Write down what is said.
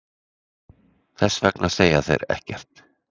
Þess vegna segja þeir ekkert.